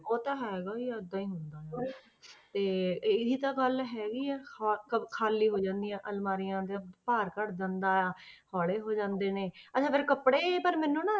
ਉਹ ਤਾਂ ਹੈਗਾ ਹੀ ਆ ਏਦਾਂ ਹੀ ਹੁੰਦਾ ਤੇ ਇਹੀ ਤਾਂ ਗੱਲ ਹੈਗੀ ਆ ਖਾ~ ਖਾ~ ਖਾਲੀ ਹੋ ਜਾਂਦੀਆਂ ਅਲਮਾਰੀਆਂ ਜਾਂ ਭਾਰ ਘੱਟ ਜਾਂਦਾ ਹੌਲੇ ਹੋ ਜਾਂਦੇ ਨੇ ਅੱਛਾ ਫਿਰ ਕੱਪੜੇ ਪਰ ਮੈਨੂੰ ਨਾ,